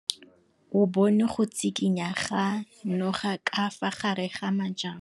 O bone go tshikinya ga noga ka fa gare ga majang.